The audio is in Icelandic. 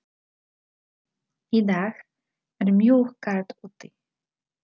Í dag er mjög kalt úti.